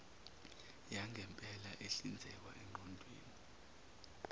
yangempela ehlinzekwa eqoqweni